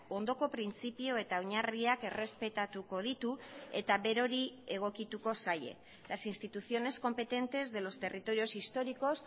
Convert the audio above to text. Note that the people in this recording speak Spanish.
ondoko printzipio eta oinarriak errespetatuko ditu eta berori egokituko zaie las instituciones competentes de los territorios históricos